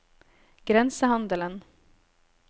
grensehandelen